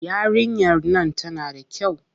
Yarinyar nan tana da kyau.